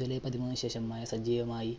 july പതിമൂന്നിന് ശേഷം മഴ സജീവമായി